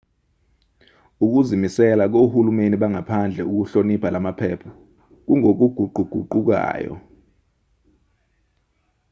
ukuzimisela kohulumeni bangaphandle ukuhlonipha lamaphepha kungokuguquguqukayo